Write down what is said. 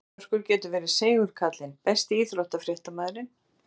Ásgeir Börkur getur verið seigur kallinn Besti íþróttafréttamaðurinn?